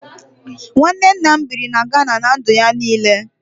Nwanne nna m biri na Gana ná ndụ ya niile